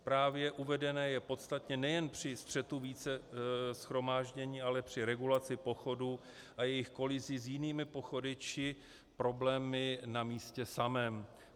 Právě uvedené je podstatné nejen při střetu více shromáždění, ale při regulaci pochodu a jejich kolizi s jinými pochody či problémy na místě samém.